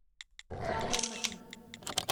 Sabarmati